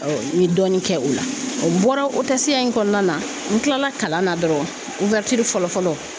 n ye dɔɔni kɛ o la n bɔra ya in kɔnɔna na n kilala kalan na dɔrɔn fɔlɔ fɔlɔ